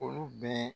Olu bɛɛ